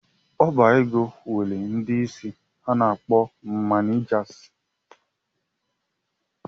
Ọbaego nwere ndị isi a na-akpọ ‘manijasi’